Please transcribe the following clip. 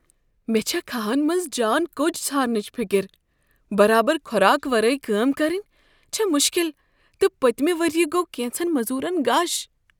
مےٚ چھےٚ کھہن منٛز جان کوج ژھارنچ فکر۔ برابر خوراک ورٲے کٲم کرٕنۍ چھےٚ مشکل، تہٕ پٔتۍمہ ؤریہ گوٚو کینژن مزُورن غش۔